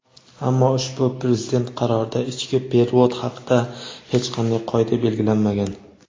Ammo ushbu Prezident qarorida ichki "perevod" haqida hech qanday qoida belgilanmagan.